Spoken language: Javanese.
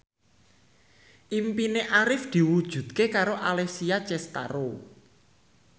impine Arif diwujudke karo Alessia Cestaro